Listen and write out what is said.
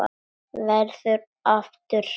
Verður aftur hrædd.